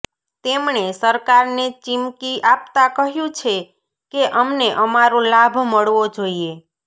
તેમણે સરકારને ચીમકી આપતા કહ્યું છે કે અમને અમારો લાભ મળવો જોઈએ